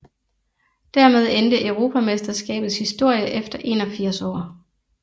Dermed endte europamesterskabets historie efter 81 år